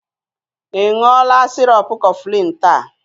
Ị ṅụọla sirop Cofflin taa?